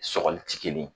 Sɔgɔli ti kelen ye